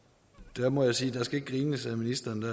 der må jeg sige at skal grines af ministeren det